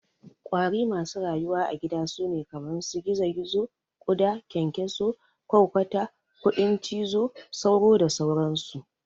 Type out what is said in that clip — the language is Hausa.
ƙwari masu rayuwa a gida sune kaman su gizo-gizo, ƙuda, ƙyanƙyaso, ƘwarƘwata, kudin cizo, sauro da sauran su.